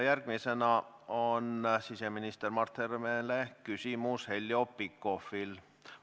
Järgmisena on siseminister Mart Helmele küsimus Heljo Pikhofil.